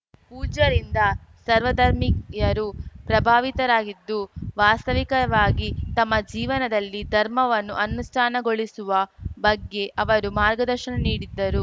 ಪೂಜ್ಯರಿಂದ ಸರ್ವಧರ್ಮಿಯರೂ ಪ್ರಭಾವಿತರಾಗಿದ್ದು ವಾಸ್ತವಿಕವಾಗಿ ತಮ್ಮ ಜೀವನದಲ್ಲಿ ಧರ್ಮವನ್ನು ಅನುಷ್ಠಾನಗೊಳಿಸುವ ಬಗ್ಗೆ ಅವರು ಮಾರ್ಗದರ್ಶನ ನೀಡಿದ್ದರು